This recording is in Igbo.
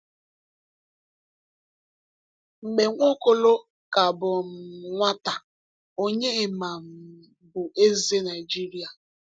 Mgbe Nwaokolo ka bụ um nwata, Onyema um bụ eze Nigeria.